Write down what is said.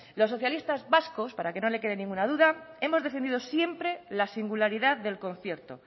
los socialistas vascos para que no le quede ninguna duda hemos defendido siempre la singularidad del concierto